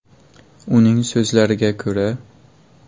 Uning so‘zlariga ko‘ra.